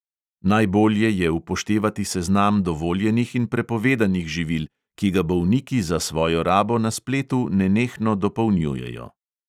Najbolje je upoštevati seznam dovoljenih in prepovedanih živil, ki ga bolniki za svojo rabo na spletu nenehno dopolnjujejo.